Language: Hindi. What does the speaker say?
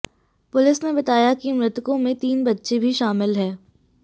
पुलिस ने बताया कि मृतकों में तीन बच्चे भी शामिल हैं